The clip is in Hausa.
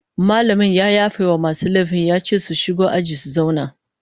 Mallamin ya yafe wa masu laifin ya ce su shigo aji su zauna